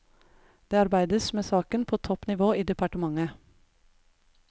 Det arbeides med saken på topp nivå i departementet.